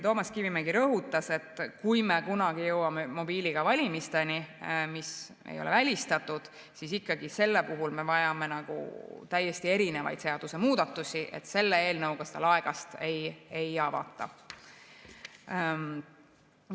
Toomas Kivimägi rõhutas, et kui me kunagi jõuame mobiiliga valimisteni, mis ei ole välistatud, siis ikkagi sellel puhul me vajame täiesti erinevaid seadusemuudatusi, selle eelnõuga seda laegast ei avata.